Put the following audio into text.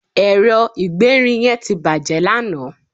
ẹrọ igberin yen ti bàjé lanaa